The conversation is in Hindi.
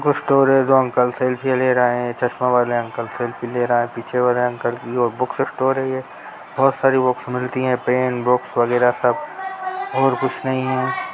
बुक स्टोर है जो अंकल सेल्फी ले रहे है चस्मा वाले अंकल सेल्फी ले रहा है पीछे वाला ये बुक स्टोर है येबहुत सारी बुक्स मिलती है पैन बुक्स वगैरा सब और कुछ नही है।